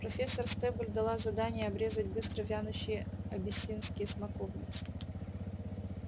профессор стебль дала задание обрезать быстро вянущие абиссинские смоковницы